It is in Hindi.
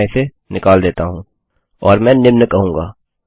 अतः मैं इसे निकाल देता हूँ और मैं निम्न कहूँगा